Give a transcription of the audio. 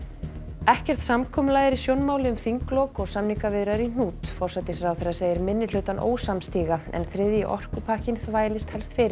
ekkert samkomulag er í sjónmáli um þinglok og samningaviðræður í hnút forsætisráðherra segir minnihlutann ósamstíga en þriðji orkupakkinn þvælist helst fyrir